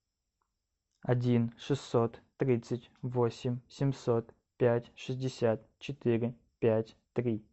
один шестьсот тридцать восемь семьсот пять шестьдесят четыре пять три